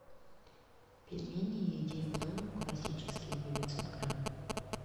пельмени едим дома классические девятьсот грамм